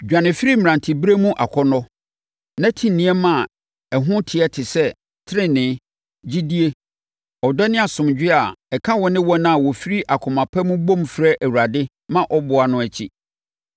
Dwane firi mmeranteberɛ mu akɔnnɔ, na ti nneɛma a ɛho teɛ te sɛ: tenenee, gyidie, ɔdɔ ne asomdwoeɛ a ɛka wo ne wɔn a wɔfiri akoma pa mu bom frɛ Awurade ma ɔboa no akyi.